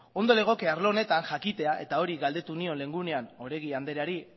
ondo legoke arlo honetan jakitea eta hori galdetu nion lehen egunean oregi andreari